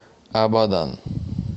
абадан